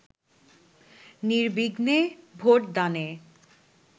নির্বিঘ্নে ভোটদানে